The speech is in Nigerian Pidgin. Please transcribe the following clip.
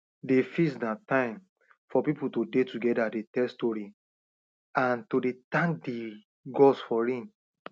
the feast na time for people to dey together dey tell story and to dey thank the gods for rain